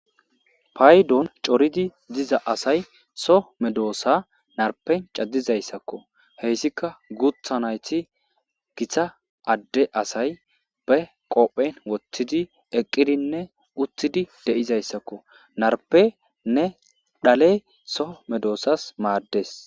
paydon coridi diza asay so medoosa narpen cadizayssakko heyssika gutha nayti gita adde asay be qophen woththidi eqqidinne uthidi de'izayssakko narpenne dhale so medoosas maaddes